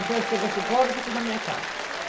Então, eu chego às cinco horas e fico na minha casa.